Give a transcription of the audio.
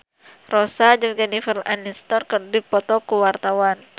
Rossa jeung Jennifer Aniston keur dipoto ku wartawan